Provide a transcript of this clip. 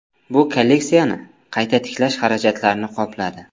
Bu kolleksiyani qayta tiklash xarajatlarini qopladi.